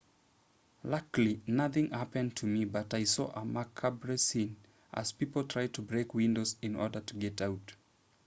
luckily nothing happened to me but i saw a macabre scene as people tried to break windows in order to get out